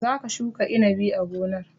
Za ka shuka inabi a gonar!